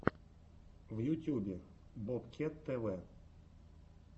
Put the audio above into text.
в ютюбе бобкет тв